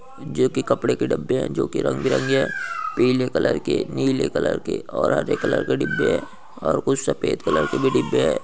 जो कि कपड़े के डब्बे हैं जो रंग-बिरंगे हैं पीले कलर के नीले कलर के और हरे कलर के डिब्बे हैं और कुछ सफेद कलर के भी डिब्बे हैं।